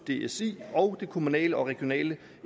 dsi og det kommunale og regionale